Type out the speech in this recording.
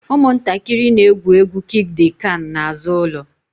Ụmụntakịrị na-egwu egwu kiik d kan n'azụ ụlọ